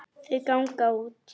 Þau ganga út.